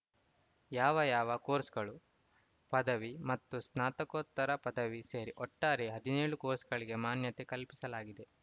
ಯಾವ್ಯಾವ ಕೋರ್ಸ್‌ಗಳು ಪದವಿ ಮತ್ತು ಸ್ನಾತಕೋತ್ತರ ಪದವಿ ಸೇರಿ ಒಟ್ಟಾರೆ ಹದಿನೇಳು ಕೋರ್ಸ್‌ಗಳಿಗೆ ಮಾನ್ಯತೆ ಕಲ್ಪಿಸಲಾಗಿದೆ